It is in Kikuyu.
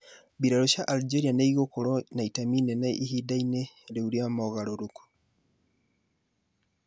Mbiraru cia Algeria nĩ igũkorũo na itemi inene ihinda-inĩ rĩu rĩa mogarũrũku.